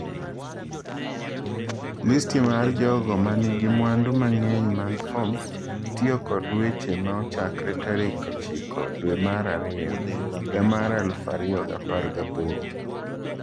Listi mar jogo ma nigi mwandu mang'eny mag Forbes tiyo kod weche ma ochakre tarik 9 dwe mar ariyo higa mar 2018.